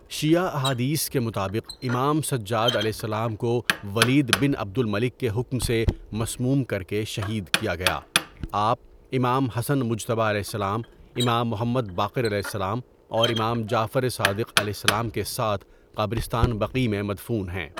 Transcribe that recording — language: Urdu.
شیعہ احادیث کے مطابق امام سجادؑ کو ولید بن عبد الملک کے حکم سے مسموم کر کے شہید کیا گیا آپ امام حسن مجتبیؑ، امام محمد باقرؑ اور امام جعفر صادقؑ کے ساتھ قبرستان بقیع میں مدفون ہیں.